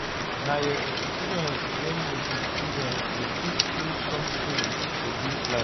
Na your experience wen you be student go teach you sometins for dis life.